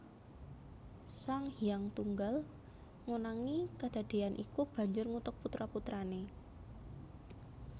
Sang Hyang Tunggal ngonangi kedadéyan iku banjur ngutuk putra putrané